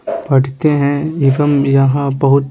पढ़ते हैं एवं यहाँ बहुत--